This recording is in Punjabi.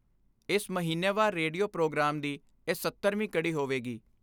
ਇਸ ਮਹੀਨੇਵਾਰ ਰੇਡੀਓ ਪ੍ਰੋਗਰਾਮ ਦੀ ਇਹ 70ਵੀਂ ਕੜੀ ਹੋਵੇਗੀ।